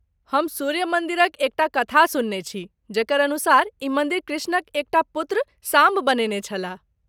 हम सूर्य मन्दिरक एक टा कथा सुनने छी जकर अनुसार ई मन्दिर कृष्णक एक टा पुत्र, साम्ब बनेने छलाह।